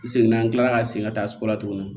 I seginna an kilala ka segin ka taa sugu la tuguni